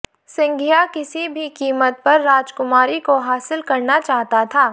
सिंघीया किसी भी किमत पर राजकुमारी को हासिल करना चाहता था